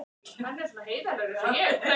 Til þín, elsku pabbi.